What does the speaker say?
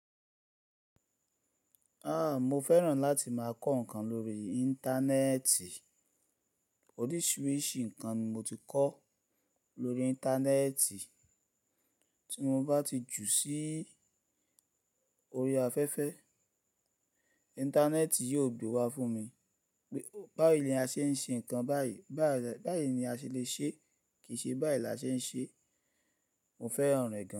A, mo fẹ́ràn láti máa kọ́ ǹkan lórí Íńtánẹ́ẹ̀tì. Oríṣìíríṣìí ǹkan ni mo ti kọ lórí Íńtánẹ́ẹ̀tì. Tí mo bá ti jù sí orí afẹ́fẹ́, Íńtánẹ́ẹ̀tì yóò gbe wa fún mi pé bá ìlé a ṣe ń ṣe ǹkan báyìí, báyìí ni a ṣe lè ṣe é, kì í ṣe bá ìlé a ṣe ń ṣe é. Mo fẹ́ràn rẹ̀ gan.